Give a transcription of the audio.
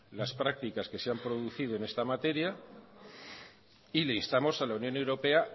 las prácticas que se han producido en esta materia y le instamos a la unión europea